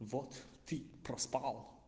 вот ты проспал